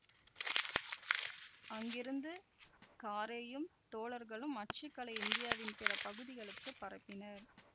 அங்கிருந்து காரேயும் தோழர்களும் அச்சுக்கலையை இந்தியாவின் பிற பகுதிகளுக்குப் பரப்பினர்